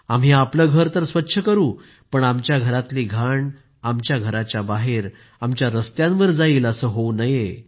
आम्ही आपलं घर तर स्वच्छ करू पण आमच्या घरातील घाण आमच्या घराच्या बाहेर आमच्या रस्त्यांवर जाईल असं होऊ नये